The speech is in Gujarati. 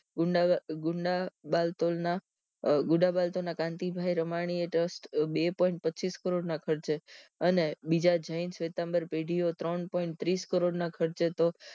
ગુદા ગુંડા બલ્તોલ ના ગુદા બાળ તોલ ના કાંતિભાઈ રમાણીએ દસ્ત બે point પંચ્ચીસ કરોડ ના ખર્ચે અને બીજા જૈન સિતંબર પેઢીઓ ત્રણ point ત્રીસ કરોડ ના ખર્ચે તો